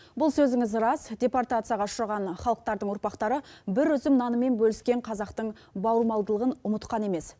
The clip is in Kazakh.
бұл сөзіңіз рас департацияға ұшыраған халықтардың ұрпақтары бір үзім нанымен бөліскен қазақтың бауырмалдылығын ұмытқан емес